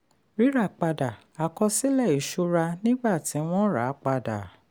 ríra padà: àkọsílẹ̀ ìṣúra nígbà tí wọ́n ràpadà.